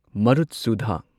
ꯃꯔꯨꯠꯁꯨꯙ